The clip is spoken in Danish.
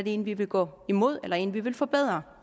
en vi vil gå imod eller om det en vi vil forbedre